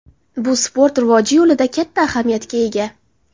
Bu sport rivoji yo‘lida katta ahamiyatga ega.